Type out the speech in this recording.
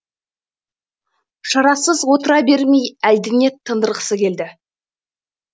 шарасыз отыра бермей әлдене тындырғысы келді